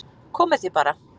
Komið þið bara